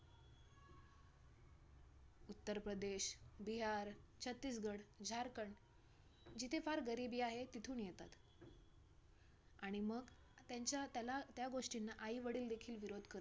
उत्तर प्रदेश, बिहार, छत्तीसगढ, झारखंड जिथे फार गरिबी आहे, तिथून येतात आणि मग त्यांच्या त्यांला त्यांना त्या गोष्टींना आई-वडील देखील विरोध करत